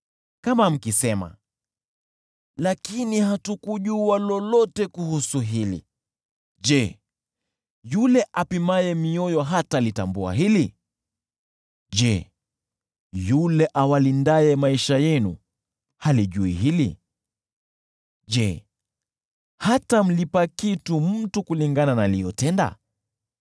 Kama mkisema, “Lakini hatukujua lolote kuhusu hili,” je, yule apimaye mioyo halitambui hili? Je, yule awalindaye maisha yenu halijui hili? Je, hatamlipa kila mtu kulingana na aliyotenda?